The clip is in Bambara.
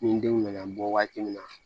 Ni n denw nana bɔ waati min na